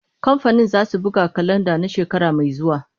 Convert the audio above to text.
Kamfanin zasu buga kalanda na shekara mai zuwa.